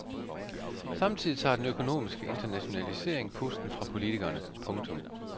Samtidig tager den økonomiske internationalisering pusten fra politikerne. punktum